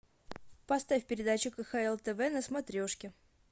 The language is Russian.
поставь передачу кхл тв на смотрешке